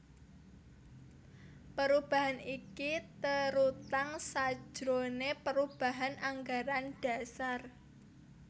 Perubahan iki terutang sajrone perubahan anggaran dasar